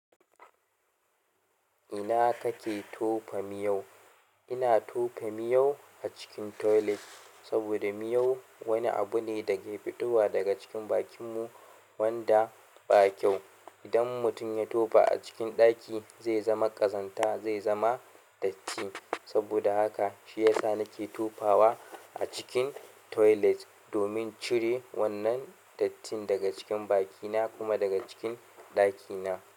Ina kake tofa miyau? Ina tofa miyau acikin tolet saboda miyau wani abu ne dake fitowa cikin bakin mu wanda ba kyau idan mutum ya tofa a cikin ɗaki zai zama ƙazanta, zai zama datti. Saboda haka shi yasa na ke tofawa a cikin toilet, domin cire wannan dattin daga cikin bakina kuma daga cikin ɗakina.